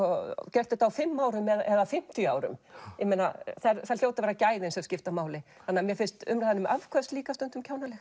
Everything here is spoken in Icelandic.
gert þetta á fimm árum eða fimmtíu það hljóta að vera gæðin sem skipta máli þannig að mér finnst umræðan um afköst líka stundum kjánaleg